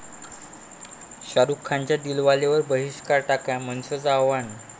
शाहरुखचा 'दिलवाले'वर बहिष्कार टाका, मनसेचं आवाहन